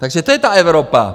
Takže to je ta Evropa!